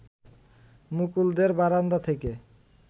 মুকুলদের বারান্দা থেকে